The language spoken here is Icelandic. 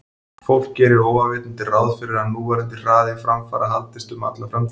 Fólk gerir óafvitandi ráð fyrir að núverandi hraði framfara haldist um alla framtíð.